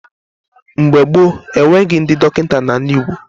Mgbe gboo, enweghị ndị dọkịta n'ala Igbo.